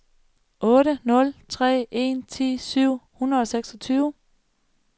otte nul tre en ti syv hundrede og seksogtyve